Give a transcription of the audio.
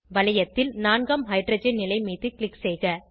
வளையத்தில் நான்காம் ஹைட்ரஜன் நிலை மீது க்ளிக் செய்க